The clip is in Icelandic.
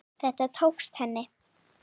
Þetta tókst henni.